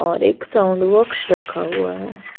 और एक sound box रखा हुआ है।